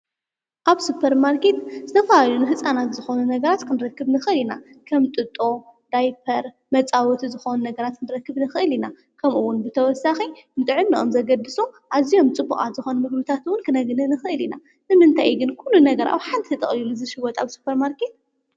ኣብ ሱፐርማርኬት ዝተፈላለዩ ንሕፃናት ዝኾኑ ነገራት ክንረክብ ንኽእል ኢና፡፡ ከም ጥጦ፣ ዳይፐር፣ መፃወቲ ዝኾኑ ነገራት ክንረክብ ንኽእል ኢና፡፡ ከምኡውን ብተወሳኺ ንጥዕ ንኦም ዘገድሱ ኣዚዮም ፅቡቓት ዝኾኑ ምግብታትውን ክነግኒ ንኽእል ኢና፡፡ ንምንታይ ግን ኲሉ ነገር ኣብ ሓንቲ ተጠቕሊሉ ዝሽይወጥ ኣብ ሱፐርማርከት?